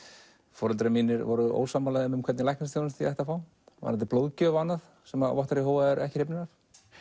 foreldrar mínir voru ósammála þeim hvernig læknisþjónustu ég ætti að fá varðandi blóðgjöf og annað sem að vottar Jehóva eru ekki hrifnir af